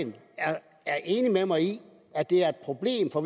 er enig med mig i at det er et problem for